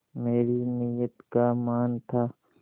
मेरी नीयत का मान था